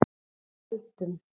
Keldum